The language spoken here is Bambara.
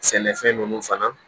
Sɛnɛfɛn ninnu fana